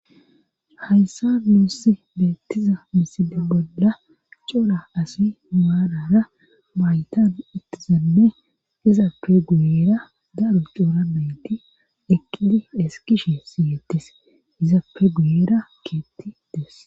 Hayssa muussi beettiza misidi bolla cola asi maalara maytan ittizanne izappe guyera daro cooramenti eqqidi eskishe siyettis izappe guyera keetti des.